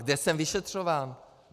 Kde jsem vyšetřován?